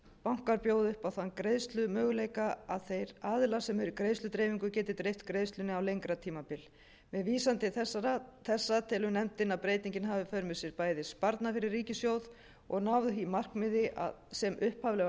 bankar bjóði upp á þann greiðslumöguleika að þeir aðilar sem eru í greiðsludreifingu geti dreift greiðslunni á lengra tímabil með vísan til þessa telur nefndin að breytingin hafi í för með sér bæði sparnað fyrir ríkissjóð og nái því markmiði sem upphaflega var